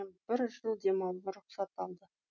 бір жыл демалуға рұхсат алды